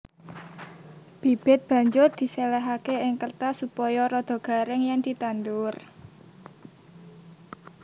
Bibit banjur diséléhaké ing kêrtas supaya rada garing yèn ditandur